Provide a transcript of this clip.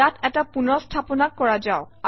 ইয়াত এটা পুনৰ স্থাপনা কৰ যাওক